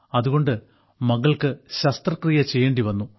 അതുകൊണ്ട് മകൾക്ക് ശസ്ത്രക്രിയ ചെയ്യേണ്ടി വന്നു